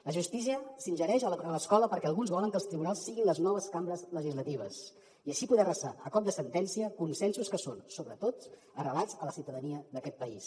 la justícia s’ingereix a l’escola perquè alguns volen que els tribunals siguin les noves cambres legislatives i així poder arrasar a cop de sentència consensos que són sobretot arrelats a la ciutadania d’aquest país